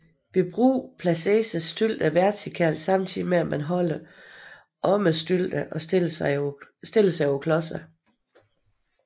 Ved brug placeres stylterne vertikalt samtidig med at man holder om stylterne og stiller sig på klodserne